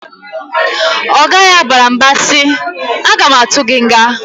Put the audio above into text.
Oga ya bara mba si, "A ga ma atụ gị nga!"